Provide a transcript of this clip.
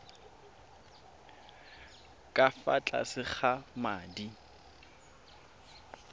ka fa tlase ga madi